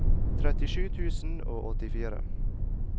trettisju tusen og åttifire